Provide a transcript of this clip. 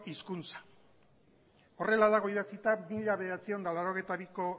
hizkuntza horrela dago idatzita mila bederatziehun eta laurogeita biko